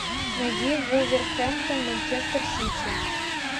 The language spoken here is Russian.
найди вулверхэмптон манчестер сити